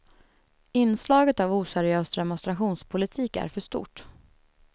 Inslaget av oseriös demonstrationspolitik är för stort.